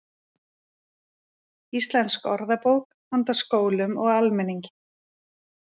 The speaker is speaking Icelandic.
Íslensk orðabók handa skólum og almenningi.